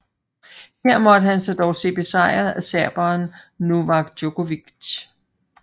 Her måtte han dog se sig besejret af serberen Novak Djokovic